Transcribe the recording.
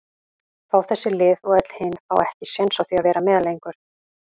fá þessi lið og öll hin fá ekki séns á því að vera með lengur?